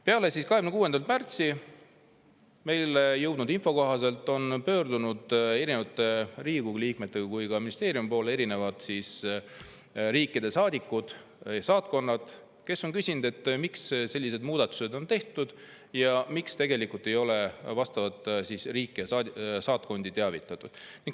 " Peale 26. märtsi on meile jõudnud info kohaselt pöördunud nii Riigikogu liikmete kui ka ministeeriumi poole eri riikide saatkonnad, kes on küsinud, miks sellised muudatused on tehtud ja miks ei ole vastavat riiki ja saatkonda teavitatud.